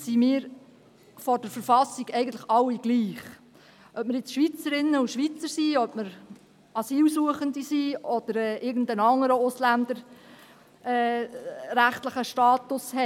sind wir vor der Verfassung eigentlich alle gleich, ob wir nun Schweizerinnen oder Schweizer sind, ob wir Asylsuchende sind oder ob wir irgendeinen anderen ausländerrechtlichen Status haben.